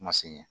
Ma se ɲɛ